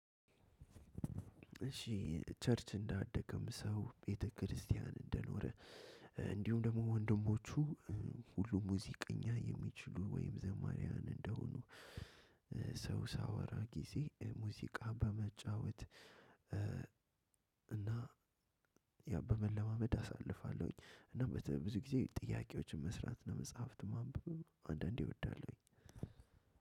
እሺ ቸርች እንዳደከም ሰው ቤተክርስቲያን እንደኖረ እንዲሁም ደግሞ ወንድሞቹ ሁሉም ሙዚቀኛ የሚችሉ ወይም ዘማሪያን እንደሆኑ። ሰው ሳወራ ጊዜ ሙዚቃ በመጫወት እና በመለማመድ አሳልፋለሁኝ። እና በተብሎ ብዙ ጊዜ ጥያቄዎችን መስራት እና መጽሃፍት ማንበብ አንዳንዴ እወዳለሁኝ።